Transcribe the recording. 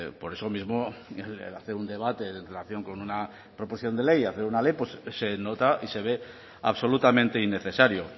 por eso mismo el hacer un debate en relación con una proporción de ley y hacer una ley pues se nota y se ve absolutamente innecesario